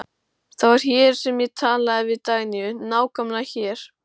Það var hér sem ég talaði við Dagnýju, nákvæmlega hér.